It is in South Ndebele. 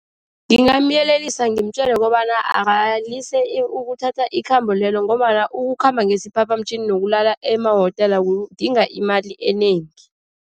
Ngingamyelelisa, ngimtjele kobana akalise ukuthatha ikhambo lelo. Ngombana ukukhamba ngesiphaphamtjhini nokulala emawotela kudinga imali enengi.